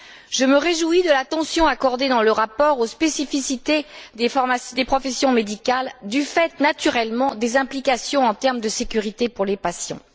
Je me réjouis de l'attention accordée dans le rapport aux spécificités des professions médicales, du fait naturellement des implications en termes de sécurité pour les patients.